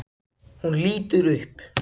Hún lítur upp.